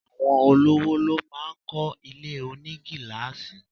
Àwọn olówò ló máá ń kọ́ ilé onigilaasi